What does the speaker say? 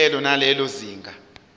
kulelo nalelo zinga